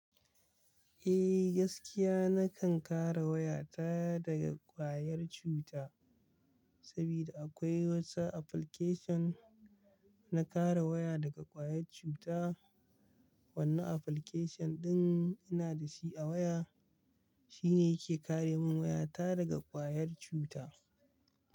Eh gaskiya nakan kare waya ta daga ƙwayar cuta saboda akwai wasu application na kare waya daga ƙwayar cuta. Wannan application ɗin ina da shi a waya shine yake kare min waya ta daga ƙwayar cuta.